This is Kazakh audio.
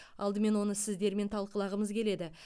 алдымен оны сіздермен талқылағымыз келеді